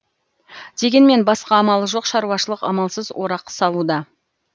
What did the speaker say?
дегенмен басқа амалы жоқ шаруашылық амалсыз орақ салуда